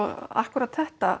akkúrat þetta